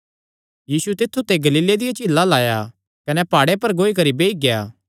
यीशु तित्थु ते गलीले दिया झीला अल्ल आया कने प्हाड़े पर गौई करी बेई गेआ